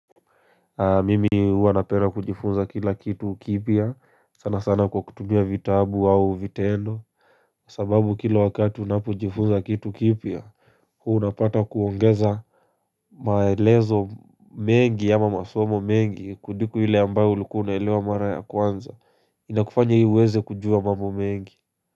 Mimi huwa napenda kujifunza kila kitu kipia sana sana kwa kutumia vitabu au vitendo kwa sababu kila wakati unapojifunza kitu kipia huo unapata kuongeza maelezo mengi ama masomo mengi kuliko ile ambayo ulikuwa unaelewa mara ya kwanza Inakufanya hii uweze kujua mambo mengi.